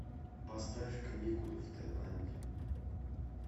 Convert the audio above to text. поставь каникулы в тайланде